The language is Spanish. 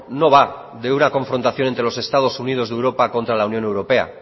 no va de una confrontación entre los estados unidos de europa contra la unión europea